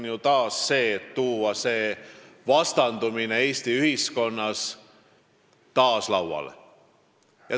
Te tahate tuua selle vastandumise Eesti ühiskonnas taas lauale.